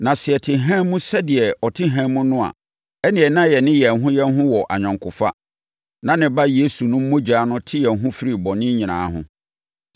Na sɛ yɛte hann mu sɛdeɛ ɔte hann mu no a, ɛnneɛ na yɛne yɛn ho yɛn ho wɔ ayɔnkofa, na ne Ba Yesu no mogya te yɛn ho firi bɔne nyinaa ho.